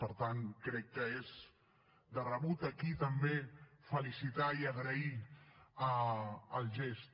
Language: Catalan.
per tant crec que és de rebut aquí també felicitar i agrair el gest